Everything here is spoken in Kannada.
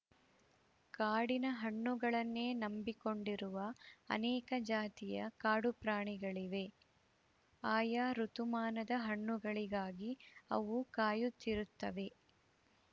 ಕಾಡಿನ ಹಣ್ಣುಗಳನ್ನೇ ನಂಬಿಕೊಂಡಿರುವ ಅನೇಕ ಜಾತಿಯ ಕಾಡು ಪ್ರಾಣಿಗಳಿವೆ ಆಯಾ ಋುತುಮಾನದ ಹಣ್ಣುಗಳಿಗಾಗಿ ಅವು ಕಾಯುತ್ತಿರುತ್ತವೆ